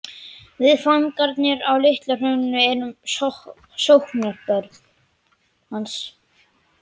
Við fangarnir á Litla-Hrauni erum sóknarbörn hans.